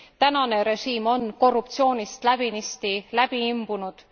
Tänane režiim on korruptsioonist läbinisti läbi imbunud.